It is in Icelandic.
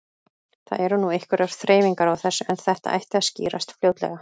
Það eru nú einhverjar þreifingar á þessu en þetta ætti að skýrast fljótlega.